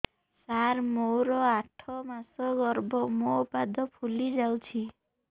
ସାର ମୋର ଆଠ ମାସ ଗର୍ଭ ମୋ ପାଦ ଫୁଲିଯାଉଛି